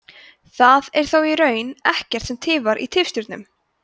það er þó í raun ekkert sem tifar í tifstjörnum